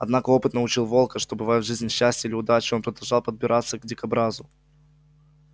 однако опыт научил волка что бывает в жизни счастье или удача и он продолжал подбираться к дикобразу